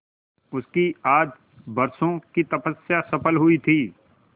उसकी आज बरसों की तपस्या सफल हुई थी